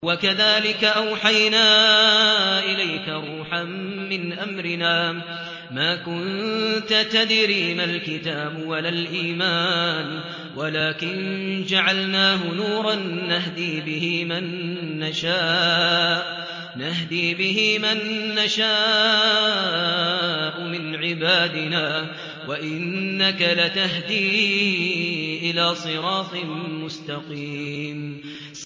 وَكَذَٰلِكَ أَوْحَيْنَا إِلَيْكَ رُوحًا مِّنْ أَمْرِنَا ۚ مَا كُنتَ تَدْرِي مَا الْكِتَابُ وَلَا الْإِيمَانُ وَلَٰكِن جَعَلْنَاهُ نُورًا نَّهْدِي بِهِ مَن نَّشَاءُ مِنْ عِبَادِنَا ۚ وَإِنَّكَ لَتَهْدِي إِلَىٰ صِرَاطٍ مُّسْتَقِيمٍ